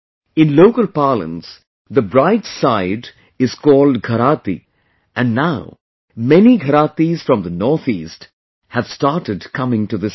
In local parlance, the bride's side is called Gharati and now many Gharaatis from the North East have started coming to this fair